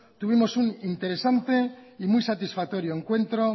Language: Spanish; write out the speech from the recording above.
tuvimos un interesante y muy satisfactorio encuentro